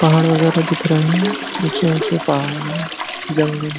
पहाड़ वगैरह दिख रहे हैं। ऊचे ऊचे पहाड़ हैं। जंगल --